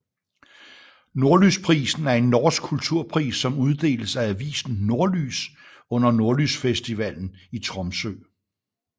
Nordlysprisen er en norsk kulturpris som uddeles af avisen Nordlys under Nordlysfestivalen i Tromsø